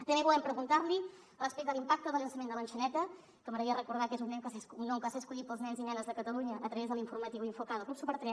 també volem preguntar li respecte a l’impacte del llançament de l’enxaneta que m’agradaria recordar que és un nom que va ser escollit pels nens i nenes de catalunya a través de l’informatiu infok del club super3